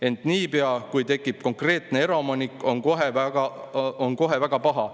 Ent niipea kui tekib konkreetne eraomanik, on kohe väga paha.